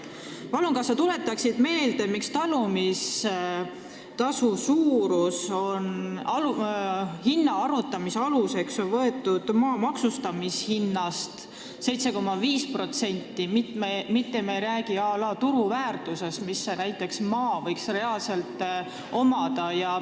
Palun, kas sa tuletaksid meelde, miks on talumistasu suuruse arvutamise aluseks võetud 7,5% maa maksustamishinnast, mitte me ei räägi à la turuväärtusest, mis maal võiks reaalselt olla?